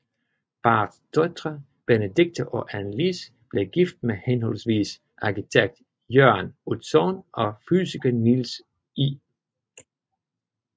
Parrets døtre Benedicte og Anne Lis blev gift med henholdsvis arkitekt Jørn Utzon og fysiker Niels I